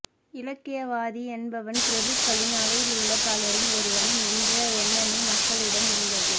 இலக்கியவாதி என்பவன் பிரபுக்களின் அவையிலுள்ள பலரில் ஒருவன் என்ற எண்ணமே மக்களிடமும் இருந்தது